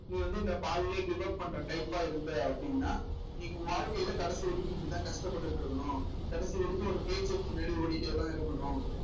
நீ வந்து இந்த பாதியிலேயே give up பண்ற type ஆ இருந்தே அப்படின்னா நீ உன் வாழ்க்கையிலே கடைசி வரைக்கும் இப்படித்தான் கஷ்டப்பட்டுட்டு இருக்கணும் கடைசி வரைக்கும் ஒரு பின்னாடி ஓடிட்டேதான் இருக்கணும்